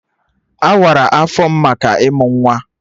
Awara afọ m maka ịmụ nwa